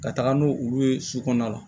Ka taga n'o olu ye su kɔnɔna la